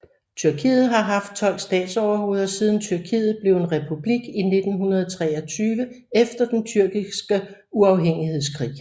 Tyrkiet har haft 12 statsoverhoveder siden Tyrkiet blev en republik i 1923 efter den Tyrkiske uafhængighedskrig